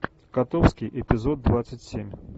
котовский эпизод двадцать семь